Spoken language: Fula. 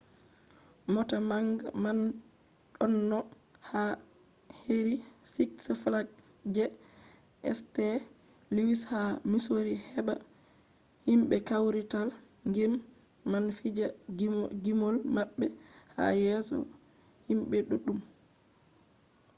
mota manga man ɗonno yaha heri siks flags je st. luwis ha misori heɓa himɓe kawrital gime man fija gimol maɓɓe ha yeso himɓe ɗuɗɗum